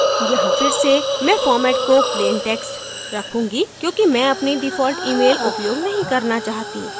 यहाँ फिर से मैं format को plain text रखूँगी क्योंकि मैं अपनी default email उपयोग नहीं करना चाहती